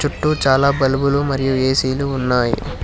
చుట్టూ చాలా బల్బులు మరియు ఏసీ లు ఉన్నాయి.